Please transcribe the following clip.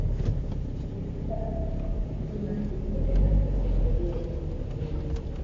Wuoth gi faras miyo ng'ato thuolo mar dhi kuonde ma ne pok odhiyega nyaka nene.